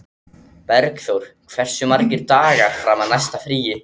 Bergþór, hversu margir dagar fram að næsta fríi?